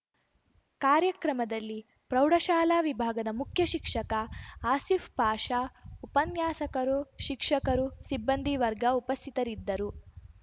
ಕಾರ್ಯಕ್ರಮದಲ್ಲಿ ಪ್ರೌಢಶಾಲಾ ವಿಭಾಗದ ಮುಖ್ಯ ಶಿಕ್ಷಕ ಆಸಿಫ್‌ ಪಾಷ ಉಪನ್ಯಾಸಕರು ಶಿಕ್ಷಕರು ಸಿಬ್ಬಂದಿ ವರ್ಗ ಉಪಸ್ಥಿತರಿದ್ದರು